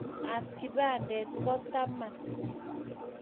koin ab kipandit ko taman